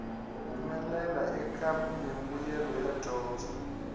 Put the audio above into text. humelela eka mimbuyelo ya dyondzo